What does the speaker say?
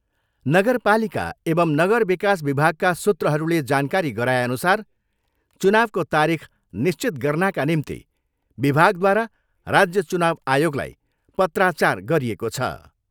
नगरपालिका एवम् नगर विकास विभागका सुत्रहरूले जानकारी गराएअनुसार चुनाउको तारिख निश्चित गर्नाका निम्ति विभागद्वारा राज्य चुनाउ आयोगलाई पत्रचार गरिएको छ।